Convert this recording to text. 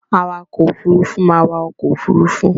Awakọ̀-òfurufú máa wa ọkọ̀-òfurufú.